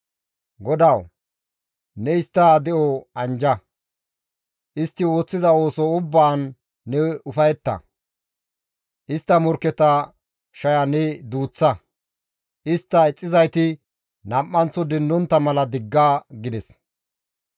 GODAWU! Ne istta de7o anjja; istti ooththiza ooso ubbaan ne ufayetta; istta morkketa shaya ne duuththa; istta ixxizayti nam7anththo dendontta mala digga!» gides.